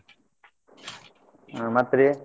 ಮತ್ತ್ ರೀ